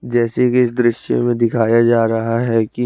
जेसे की इस द्रिस्य में दिखाया जा रहा है की--